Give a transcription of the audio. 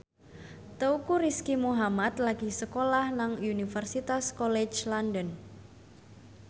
Teuku Rizky Muhammad lagi sekolah nang Universitas College London